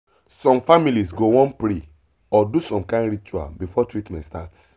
some families go wan pray or do some kind ritual before treatment start